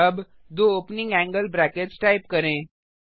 अब दो opening angle brackets type करें